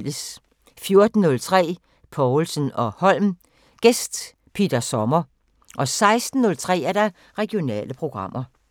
14:03: Povlsen & Holm: Gæst Peter Sommer 16:03: Regionale programmer